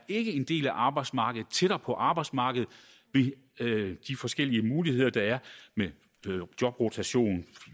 ikke er en del af arbejdsmarkedet tættere på arbejdsmarkedet ved de forskellige muligheder der er med jobrotation